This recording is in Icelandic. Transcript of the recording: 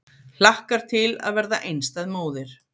Hlakkar til að verða einstæð móðir